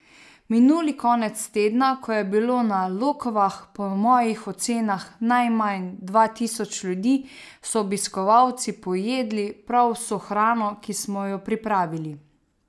Minuli konec tedna, ko je bilo na Lokvah po mojih ocenah najmanj dva tisoč ljudi, so obiskovalci pojedli prav vso hrano, ki smo jo pripravili.